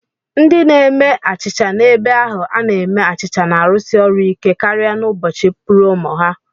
Ndị na-eme achịcha n'ebe ahu a na-eme achịcha na-arụsi ọrụ ike karịa n'ụbọchị púrómò ha